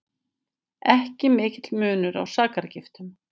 Ekki mikill munur á sakargiftum